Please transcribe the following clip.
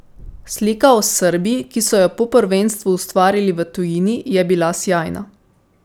Slika o Srbiji, ki so jo po prvenstvu ustvarili v tujini, je bila sijajna.